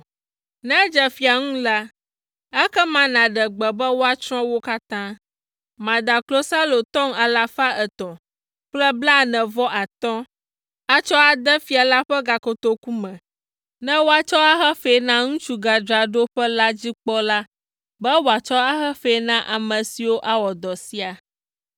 Ne edze fia ŋu la, ekema nàɖe gbe be woatsrɔ̃ wo katã. Mada klosalo tɔn alafa etɔ̃ kple blaene-vɔ-atɔ̃ (345) atsɔ ade fia la ƒe gakotoku me ne woatsɔ axe fee na ŋutsu gadzraɖoƒe la dzikpɔla be woatsɔ axe fe na ame siwo awɔ dɔ sia.”